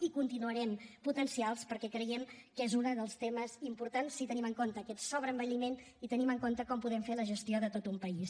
i continuarem potenciant los perquè creiem que és un dels temes importants si tenim en compte aquest sobreenvelliment i tenim en compte com podem fer la gestió de tot un país